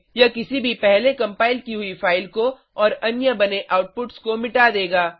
यह किसी भी पहले कम्पाइल की हुई फाइल को और अन्य बने आउटपुट्स को मिटा देगा